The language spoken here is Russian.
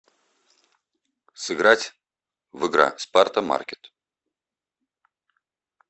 сыграть в игра спарта маркет